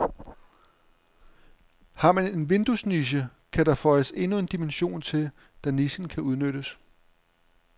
Har man en vinduesniche, kan der føjes endnu en dimension til, da nichen kan udnyttes.